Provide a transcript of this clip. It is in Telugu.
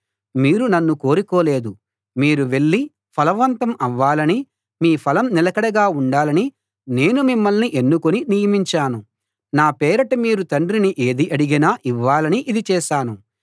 మీరు నన్ను కోరుకోలేదు మీరు వెళ్ళి ఫలవంతం అవ్వాలని మీ ఫలం నిలకడగా ఉండాలని నేను మిమ్మల్ని ఎన్నుకుని నియమించాను నా పేరిట మీరు తండ్రిని ఏది అడిగినా ఇవ్వాలని ఇది చేశాను